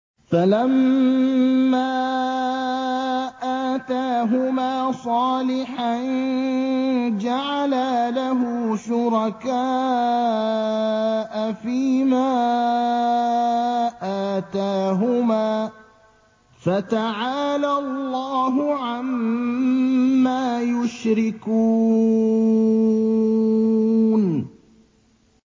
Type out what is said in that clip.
فَلَمَّا آتَاهُمَا صَالِحًا جَعَلَا لَهُ شُرَكَاءَ فِيمَا آتَاهُمَا ۚ فَتَعَالَى اللَّهُ عَمَّا يُشْرِكُونَ